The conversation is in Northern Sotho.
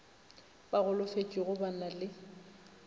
ba golofetšego ba na le